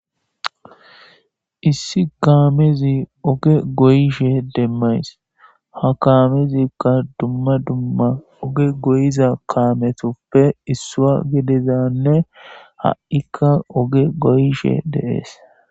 issi kaamezi oge goyishe demmays ha kaamezikka dumma dumma oge goyiza kaametoppe issua gedezanne ha7ikka oge goyishe deees